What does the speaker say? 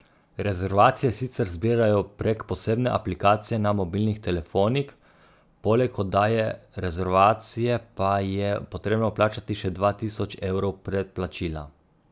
Rezervacije sicer zbirajo prek posebne aplikacije na mobilnih telefonih, poleg oddaje rezervacije pa je potrebno vplačati še dva tisoč evrov predplačila.